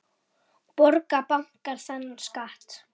Borga bankar þennan skatt?